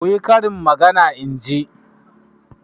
Ku yi karin magana in ji!